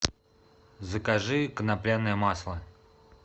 закажи конопляное масло